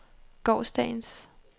gårsdagens